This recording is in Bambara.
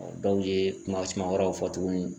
dɔw ye kuma suma wɛrɛw fɔ tuguni